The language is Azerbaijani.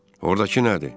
Ordakı nədir?